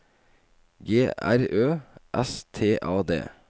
G R Ø S T A D